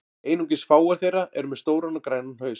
Einungis fáar þeirra eru með stóran og grænan haus.